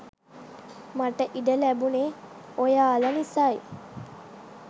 මට ඉඩ ලැබුණේ ඔයාලා නිසයි.